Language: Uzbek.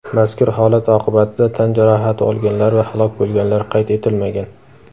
Mazkur holat oqibatida tan jarohati olganlar va halok bo‘lganlar qayd etilmagan.